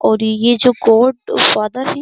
और ये जो गॉड फादर है।